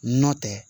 Nɔ tɛ